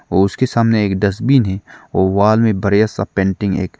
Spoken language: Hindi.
उसके सामने एक डस्टबिन है वॉल में बड़ा सा पेंटिंग है एक।